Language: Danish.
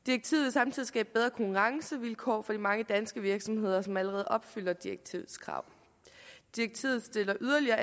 samtidig skabe bedre konkurrencevilkår for de mange danske virksomheder som allerede opfylder direktivet direktivet stiller yderligere